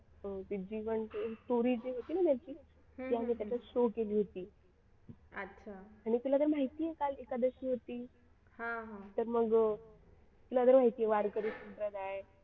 story जे होती ना त्यांची ते आम्ही त्याच्यात शो केली होती आणि तुला तर माहिती आहे काल एकादस होती तर मग तुला तर माहिती आहे वारकरी संप्रदाय